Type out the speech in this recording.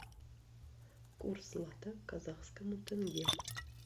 курс лата к казахскому тенге